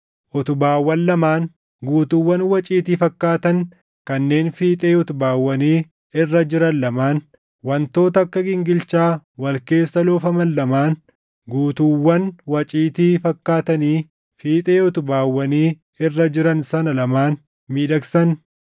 Utubaawwan lamaan; guutuuwwan waciitii fakkaatan kanneen fiixee utubaawwanii irra jiran lamaan; wantoota akka gingilchaa wal keessa loofaman lamaan guutuuwwan waciitii fakkaatanii fiixee utubaawwanii irra jiran sana lamaan miidhagsan;